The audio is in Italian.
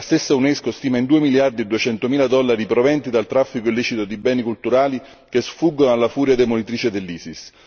La stessa Unesco stima in 2 miliardi e 200 mila dollari i proventi del traffico illecito di beni culturali che sfuggono alla furia demolitrice dell'Isis.